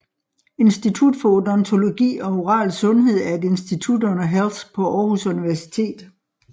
Institut for Odontologi og Oral Sundhed er et institut under Health på Aarhus Universitet